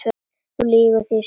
Þú lýgur því, sagði Jón.